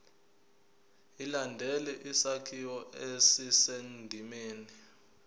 ilandele isakhiwo esisendimeni